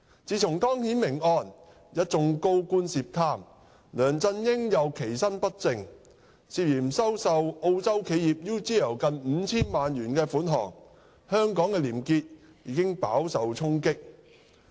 自從湯顯明案、一眾高官涉貪，梁振英又其身不正，涉嫌收受澳洲企業 UGL 近 5,000 萬元款項，香港的廉潔已飽受衝擊。